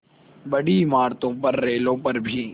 बड़ी इमारतों पर रेलों पर भी